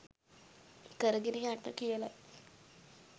කරගෙන යන්න කියලයි.